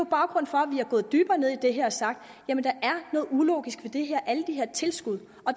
gået dybere ned i det har sagt jamen der er noget ulogisk ved det her alle de her tilskud og